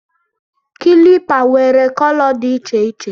kịlịpù nwere kolo dị iche iche